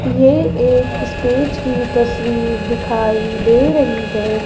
ये एक स्टेज की तस्वीर दिखाई दे रही है।